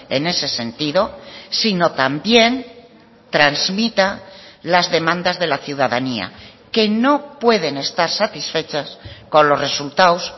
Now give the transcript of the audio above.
en ese sentido sino también transmita las demandas de la ciudadanía que no pueden estar satisfechas con los resultados